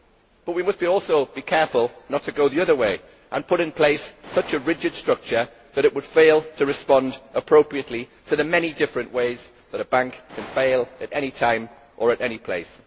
But we must also be careful not to go the other way and put in place a structure so rigid that it would fail to respond appropriately to the many different ways that a bank can fail at any time or in any place.